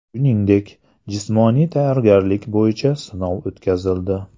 Shuningdek, jismoniy tayyorgarlik bo‘yicha sinov o‘tkazildi.